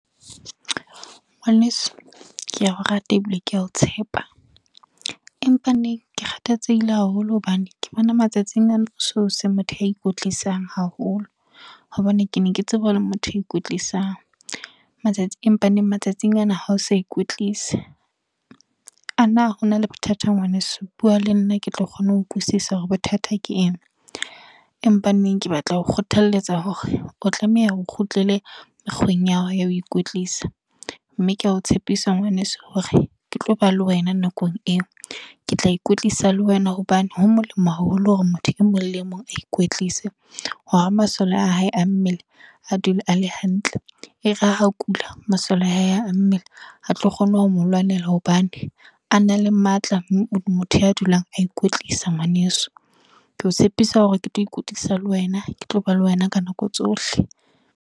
Ngwaneso. Ke a o rata ebile ke a o tshepa. Empa neng, ke kgathatsehile haholo hobane, ke bona matsatsing ana o so se motho wa ikwetlisa haholo. Hobane ke ne ke tseba o le motho e ikwetlwisang. Matsatsi empa neng matsatsing ana ha o sa ikwetlisa. A na ho na le bothata ngwaneso, bua le nna ke tlo kgona ho utlwisisa hore bothata ke eng. Empa neng ke batla ho kgothalletsa hore, o tlameha o kgutlele mekgweng ya hao ya ho ikwetlisa. Mme ke a o tshepisa ngwaneso hore, ke tlo ba le wena nakong eo. Ke tla ikwetlisa le wena hobane, ho molemo haholo hore motho e mong le e mong a ikwetlise. Hore masole a hae a mmele, a dule a le hantle. E re ha a kula, masole a hae a mmele a tlo kgona ho mo lwanela hobane, a na le matla ho motho ya dulang a ikwetlisa ngwaneso. Ke o tshepisa hore ke tlo ikwetlisa le wena. Ke tlo ba le wena ka nako tsohle.